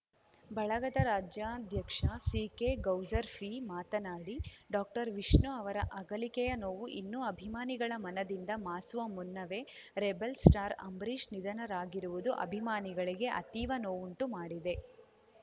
ಬಳಗದ ರಾಜ್ಯಾಧ್ಯಕ್ಷ ಸಿಕೆಗೌಸರ್ಪೀ ಮಾತನಾಡಿ ಡಾಕ್ಟರ್ವಿಷ್ಣು ಅವರ ಅಗಲಿಕೆಯ ನೋವು ಇನ್ನು ಅಭಿಮಾನಿಗಳ ಮನದಿಂದ ಮಾಸುವ ಮುನ್ನವೇ ರೆಬೆಲ್‌ಸ್ಟಾರ್‌ ಅಂಬರೀಶ್‌ ನಿಧನರಾಗಿರುವುದು ಅಭಿಮಾನಿಗಳಿಗೆ ಅತೀವ ನೋವುಂಟು ಮಾಡಿದೆ